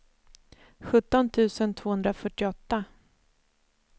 sjutton tusen tvåhundrafyrtioåtta